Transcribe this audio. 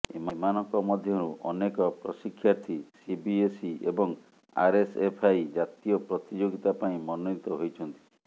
ଏମାନଙ୍କ ମଧ୍ୟରୁ ଅନେକ ପ୍ରଶିକ୍ଷାର୍ଥୀ ସିବିଏସଇ ଏବଂ ଆରଏସଏଫଆଇ ଜାତୀୟ ପ୍ରତିଯୋଗିତା ପାଇଁ ମନୋନୀତ ହୋଇଛନ୍ତି